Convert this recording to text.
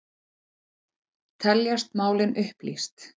Teljast málin upplýst